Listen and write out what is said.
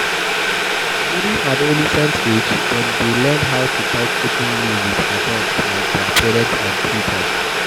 During adolesent age, dem dey learn how to talk openly with adult like their parents and teachers